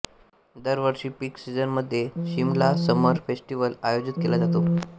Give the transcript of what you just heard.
दर वर्षी पीकसीझनमध्ये शिमला समर फेस्टिवल आयोजित केला जातो